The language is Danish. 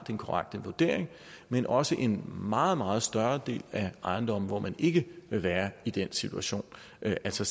den korrekte vurdering men også for en meget meget større del af ejendomme hvor man ikke vil være i den situation altså